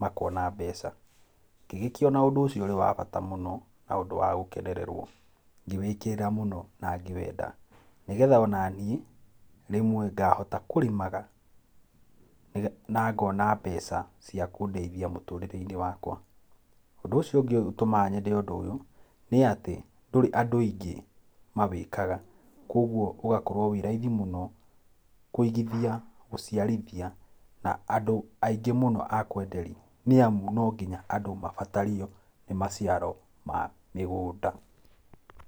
makona mbeca, ngĩgĩkĩona ũndũ ũcio ũrĩ wa bata mũno na ũndũ wa gũkenererwo, ngĩwĩkĩrĩra mũno na ngĩwenda, nĩgetha ona niĩ rĩmwe ngahotaga kũrĩmaga nĩgetha, na ngona mbeca cia kũndeithia mũtũrĩre-inĩ wakwa. Ũndũ ũcio ũngĩ ũtũmaga nyende ũndũ ũyũ nĩ atĩ, ndũrĩ andũ aingĩ mawĩkaga koguo ũgakorwo wĩ raithi mũno kũigithia, gũciarithia na andũ andũ aingĩ mũno a kwenderia nĩ amũ no nginya andũ mabatario nĩ maciaro ma mĩgũnda.